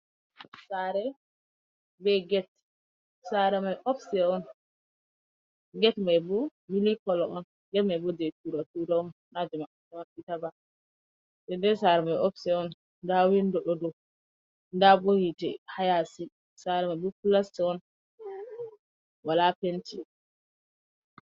Saare be get. Saare mai opste on, get mai bo mili kolo on. Get mai bo je tura tura on, na je maɓɓa maɓɓita ba. Nden de saare mai opste on, nda windo ɗo do, nda bo hite haa yaasi, saare mai bo plasta on wala penti.